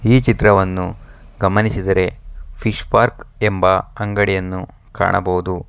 ಈ ಚಿತ್ರವನ್ನು ಗಮನಿಸಿದರೆ ಫಿಶ್ ಪಾರ್ಕ್ ಎಂಬ ಅಂಗಡಿಯನ್ನು ಕಾಣಬಹುದು.